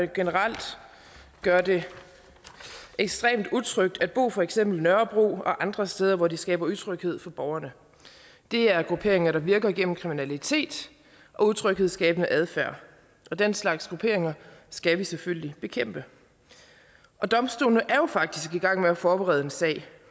generelt gør det ekstremt utrygt at bo på for eksempel nørrebro og andre steder hvor de skaber utryghed for borgerne det er grupperinger der virker igennem kriminalitet og utryghedsskabende adfærd og den slags grupperinger skal vi selvfølgelig bekæmpe domstolene er jo faktisk i gang med at forberede en sag